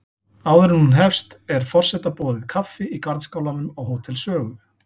Áður en hún hefst er forseta boðið kaffi í garðskálanum á Hótel Sögu.